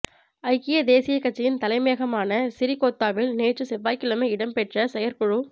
ஐக்கிய தேசியக் கட்சியின் தலைமையகமான சிறிகொத்தாவில் நேற்று செவ்வாய்க்கிழமை இடம்பெற்ற செயற்குழுக்